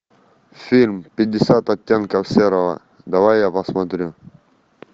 фильм пятьдесят оттенков серого давай я посмотрю